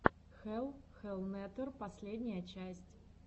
хелл хеллнетер последняя часть